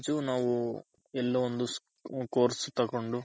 ಯೀಲೋ ಒಂದು course ತಗೊಂಡು